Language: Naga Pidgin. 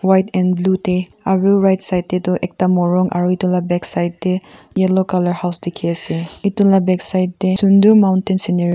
white and blue tey aro right side tey toh ekta morung aro etu la back side tey yellow colour house dekhi asey etu la back side tey sunder mountain scenery --